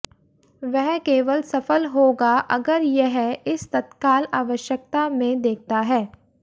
वह केवल सफल होगा अगर यह इस तत्काल आवश्यकता में देखता है